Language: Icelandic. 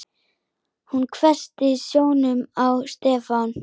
Hún hvessti sjónum á Stefán.